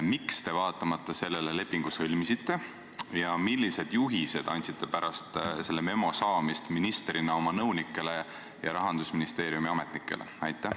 Miks te vaatamata sellele lepingu sõlmisite ja millised juhised andsite pärast selle memo saamist ministrina oma nõunikele ja Rahandusministeeriumi ametnikele?